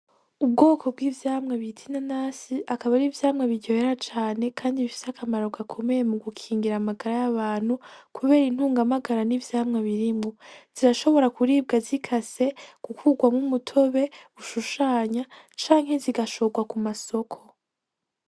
Ubwoko bw'ivyamwa bita inanasi akaba ar'ivyamwa biryohera cane kandi bifise akamaro gakomeye mu gukingira amagara y'abantu kubera intunga magara n'ivyamwa birimwo, zirashobora kuribwa zikase gukugwamwo umutobe ushushanya canke zigashogwa kumasoko.